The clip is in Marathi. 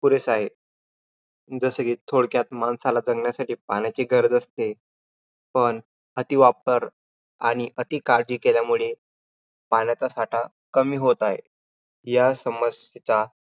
पुरेसे आहे. जसे कि थोडक्यात, माणसाला जगण्यासाठी पाण्याची गरज असते. पण अतिवापर आणि अतिकाळजी केल्यामुळे पाण्याचा साठा कमी होत आहे. या समस्यांचा